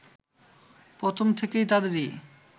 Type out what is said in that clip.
প্রথম থেকে তাদেরই